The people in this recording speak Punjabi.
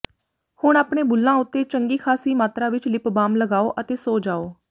ਹੁਣ ਆਪਣੇ ਬੁੱਲਾਂ ਉੱਤੇ ਚੰਗੀ ਖਾਸੀ ਮਾਤਰਾ ਵਿਚ ਲਿਪ ਬਾਮ ਲਗਾਉ ਅਤੇ ਸੋ ਜਾਉ